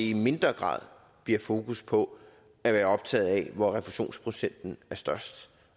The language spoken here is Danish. i mindre grad bliver fokus på at være optaget af hvor refusionsprocenten er størst